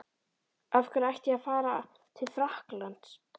Af hverju ætti ég ekki að fara til Frakklands?